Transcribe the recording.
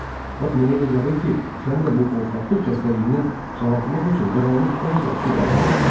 Bax mənə elə gəlir ki, səni də bu qorxaqlıq xəstəliyindən sağaltmaq üçün qaranlıq ən yaxşı dərmandır.